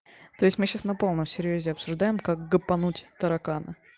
то есть мы сейчас на полном серьёзе обсуждаем как гопануть таракана